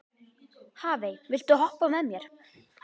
Hafey, viltu hoppa með mér?